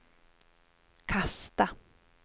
kasta